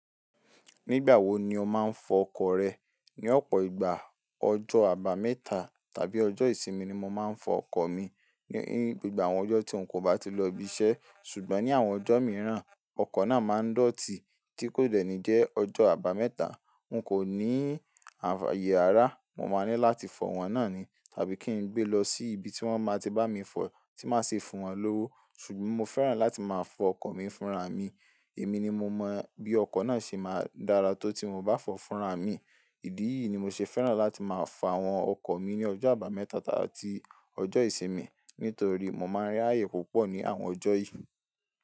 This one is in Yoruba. Nígbà wo ni o máa ń fọ ọkọ̀ rẹ? Ni ọ̀pọ̀ ìgbà, ọjọ́ àbámẹ́ta tàbí ọjọ́ ìsinmi ni mo máa ń fọ ọkọ̀ mi. Ní gbogbo àwọn ọjọ́ tí n kò bá ti lọ ibi iṣẹ́. Ṣùgbọ́n ní àwọn ọjọ́ mìíràn, ọkọ̀ náà máa ń dọ̀tí, tí kò dẹ́ni jẹ́ ọjọ́ àbámẹ́ta, n kò ní ayé ará, mo máa ní láti fọ wọ́n náà ni, tàbí kí n gbé e lọ sí ibi tí wọ́n máa ti bá mi fọ, tí màá ṣe fún wọ́n lówó. Ṣùgbọ́n mo fẹ́ràn láti máa fọ ọkọ̀ mi fúnra mi. Èmi ni mo mọ bí ọkọ̀ náà ṣe máa dára tó tí mo bá fọ fúnra mi. Ìdí yìí ni mo ṣe fẹ́ràn láti máa fo àwọn ọkọ̀ mi ní ọjọ́ àbámẹ́ta àti ọjọ́ ìsinmi, nítorí mo máa ń rí ayé púpọ̀ ní àwọn ọjọ́ yìí.